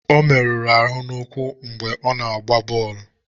Ọ meruru ahụ n'ụkwụ mgbe ọ na-agba bọọlụ.